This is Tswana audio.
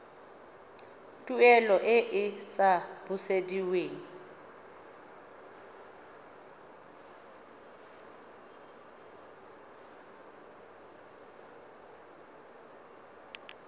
tuelo e e sa busediweng